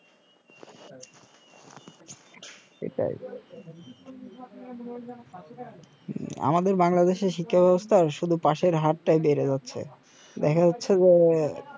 সেটাই আমাদের বাংলাদেশের শিক্ষা বেবস্থায় শুধু পাশের হারটাই বেড়ে যাচ্ছে দেখা যাচ্ছে যে সেটাই